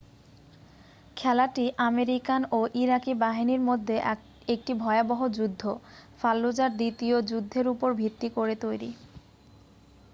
খেলাটি আমেরিকান ও ইরাকি বাহিনীর মধ্যে একটি ভয়াবহ যুদ্ধ ফাল্লুজার দ্বিতীয় যুদ্ধের উপর ভিত্তি করে তৈরি